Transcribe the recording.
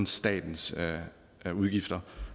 statens udgifter